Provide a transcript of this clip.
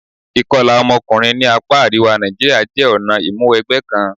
Ìkọlà ọmọkùnrin ní apá àríwá Nàìjíríà jẹ́ ọ̀nà ìmúwẹgbẹ́ kan.